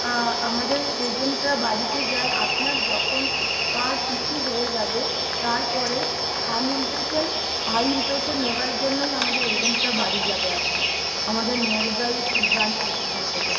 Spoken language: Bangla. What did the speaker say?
আহ আমাদের agentরা বাড়িতে যায় আপনার যখন card issue হয়ে যাবে। তারপরে hand impression, eye impressionনেওয়ার জন্যই আমাদের agent রা বাড়ি যাবে আপনার। আমাদের near by branch location থেকে।